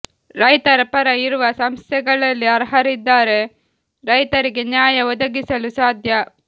ರೈತರ ಪರ ಇರುವ ಸಂಸ್ಥೆಗಳಲ್ಲಿ ಅರ್ಹರಿದ್ದರೆ ರೈತರಿಗೆ ನ್ಯಾಯ ಒದಗಿಸಲು ಸಾಧ್ಯ